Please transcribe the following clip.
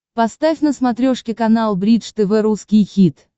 поставь на смотрешке канал бридж тв русский хит